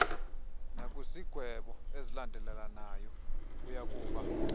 nakwizigwebo ezilandelelanayo uyakuba